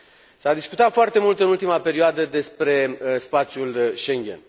S a discutat foarte mult în ultima perioadă despre spațiul Schengen.